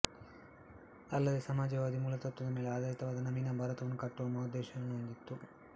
ಅಲ್ಲದೇ ಸಮಾಜವಾದಿ ಮೂಲತತ್ವದ ಮೇಲೆ ಆಧಾರಿತವಾದ ನವೀನ ಭಾರತವನ್ನು ಕಟ್ಟುವ ಮಹೋದ್ದೇಶವನ್ನು ಹೊಂದಿತ್ತು